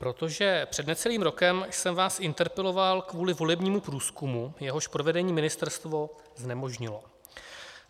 Protože před necelým rokem jsem vás interpeloval kvůli volebnímu průzkumu, jehož provedení ministerstvo znemožnilo.